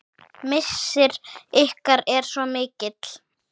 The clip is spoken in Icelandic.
Missir ykkar er svo mikill.